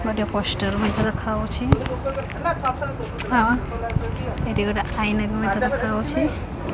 ଗୋଟେ ପୋଷ୍ଟର ମଧ୍ୟ ଦେଖାଯାଉଛି ଆନନ୍ ଏଠି ଗୋଟେ ଆଇନା ମଧ୍ୟ ଦେଖାଯାଉଛି।